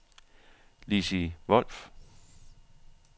Lissy Wolff